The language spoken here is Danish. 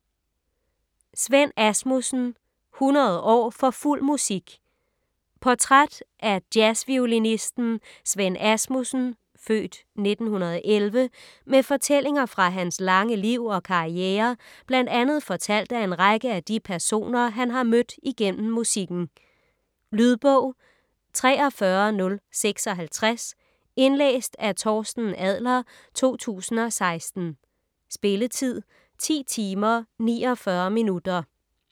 Svend Asmussen: 100 år for fuld musik Portræt af jazzviolinisten Svend Asmussen (f. 1916) med fortællinger fra hans lange liv og karriere bl.a. fortalt af en række af de personer han har mødt igennem musikken. Lydbog 43056 Indlæst af Torsten Adler, 2016. Spilletid: 10 timer, 49 minutter.